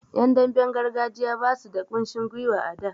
Yan damben gargajiya basu da kushin gwiwa a da.